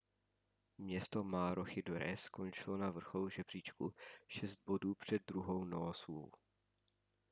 město maroochydore skončilo na vrcholu žebříčku šest bodů před druhou noosou